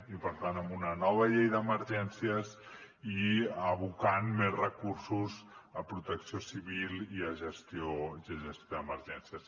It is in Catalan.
i per tant amb una nova llei d’emergències i abocant més recursos a protecció civil i a gestió d’emergències